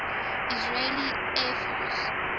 israeli air force